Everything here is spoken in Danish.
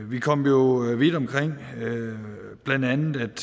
vi kom jo vidt omkring blandt andet blev der